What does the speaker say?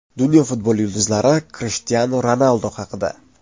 Dunyo futboli yulduzlari Krishtianu Ronaldu haqida.